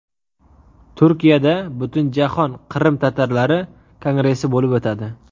Turkiyada Butunjahon qrim-tatarlari kongressi bo‘lib o‘tadi.